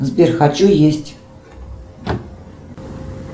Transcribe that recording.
сбер хочу есть